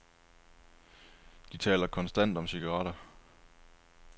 De taler konstant om cigaretter.